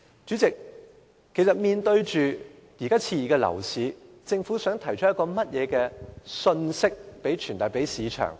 主席，面對目前熾熱的樓市，政府想向市場傳遞甚麼信息？